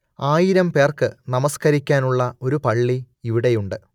ആയിരം പേർക്ക് നമസ്കരിക്കാനുള്ള ഒരു പള്ളി ഇവിടെയുണ്ട്